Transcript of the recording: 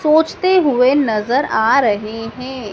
सोचते हुए नजर आ रहे हैं।